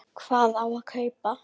Sindri: Hvað á að kaupa?